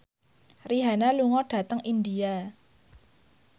Rihanna lunga dhateng India